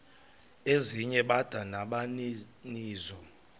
ezinye bada nabaninizo